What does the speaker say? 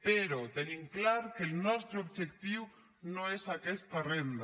però tenim clar que el nostre objectiu no és aquesta renda